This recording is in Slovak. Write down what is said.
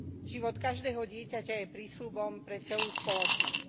Život každého dieťaťa je prísľubom pre celú spoločnosť.